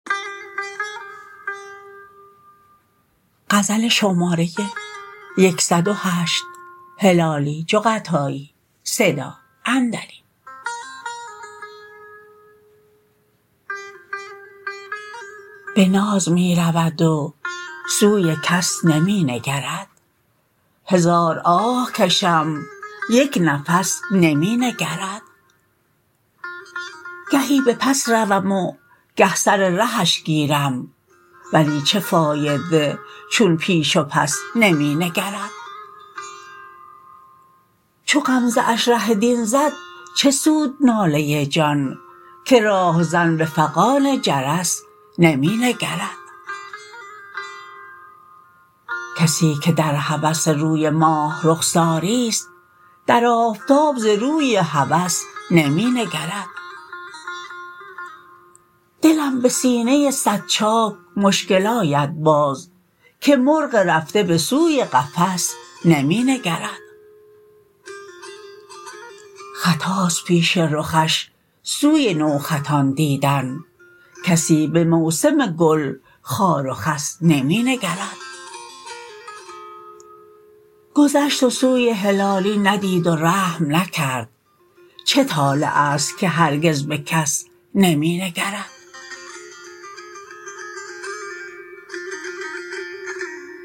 به ناز می رود و سوی کس نمی نگرد هزار آه کشم یک نفس نمی نگرد گهی به پس روم و گه سر رهش گیرم ولی چه فایده چون پیش و پس نمی نگرد چو غمزه اش ره دین زد چه سود ناله جان که راهزن به فغان جرس نمی نگرد کسی که در هوس روی ماه رخساریست در آفتاب ز روی هوس نمی نگرد دلم به سینه صد چاک مشکل آید باز که مرغ رفته به سوی قفس نمی نگرد خطاست پیش رخش سوی نو خطان دیدن کسی به موسم گل خار و خس نمی نگرد گذشت و سوی هلالی ندید و رحم نکرد چه طالعست که هرگز به کس نمی نگرد